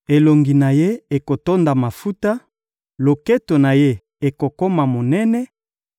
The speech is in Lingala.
Elongi na ye ekotonda mafuta, loketo na ye ekokoma monene;